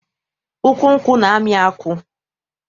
Ukwu nkwụ na-amị akwụ.